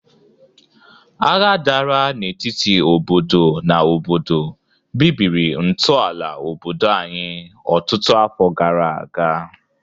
Agha dara n'etiti obodo na obodo bibiri ntọala obodo anyị ọtụtụ afọ gara aga.